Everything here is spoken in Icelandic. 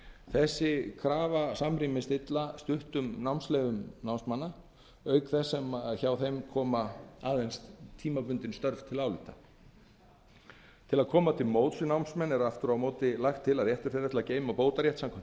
þessi krafa þykir ekki samrýmast stuttum námsleyfum námsmanna auk þess sem hjá þeim koma aðeins tímabundin störf til álita til að koma til móts við námsmenn er aftur á móti lagt til að réttur þeirra til að geyma bótarétt samkvæmt